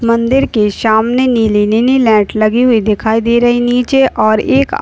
मंदिर के सामने नीली नीनी लाइट लगी हुई दिखाई दे रही। नीचे और एक आ --